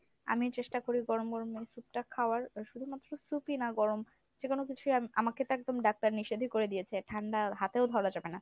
আমি চেষ্টা করি গরম গরম এই soup টা খাওয়ার আহ শুধুমাত্র soup ই না গরম যেকোনো কিছুই আম~ আমাকে তো একদম doctor নিষেধই করে দিয়েছে ঠান্ডা হাতেও ধরা যাবে না।